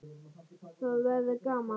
Það verður gaman.